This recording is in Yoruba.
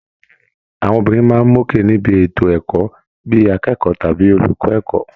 Àwọn obìnrin máa ń mókè níbi ètò ẹ̀kọ́, bí i akẹ́kọ̀ọ́ tàbí olùkọ́ ẹ̀kọ́